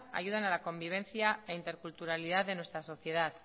ayudan a la convivencia e interculturalidad de nuestra sociedad